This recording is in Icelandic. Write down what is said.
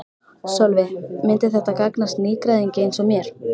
Sölvi: Myndi þetta gagnast nýgræðingi eins og mér?